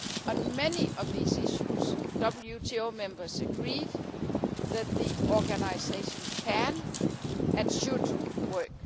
On many of these issues, WTO members agreed that the organisation can and should work.